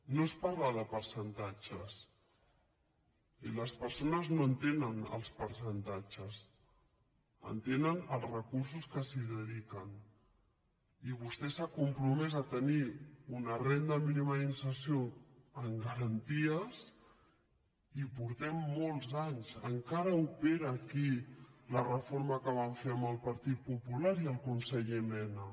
no es parla de percentatges i les persones no entenen els percentatges entenen els recursos que s’hi dedi·quen i vostè s’ha compromès a tenir una renda míni·ma d’inserció amb garanties i portem molts anys en·cara opera aquí la reforma que van fer amb el partit popular i el conseller mena